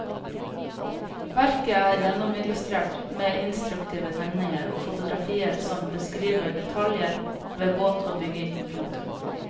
Verket er gjennomillustrert med instruktive tegninger og fotografier som beskriver detaljer ved båt og bygging. punktum